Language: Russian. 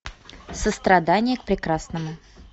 сострадание к прекрасному